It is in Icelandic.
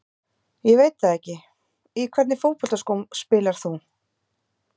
Ég veit það ekki Í hvernig fótboltaskóm spilar þú?